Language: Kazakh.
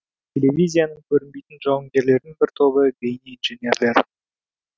телевизияның көрінбейтін жауынгерлерінің бір тобы бейнеинженерлер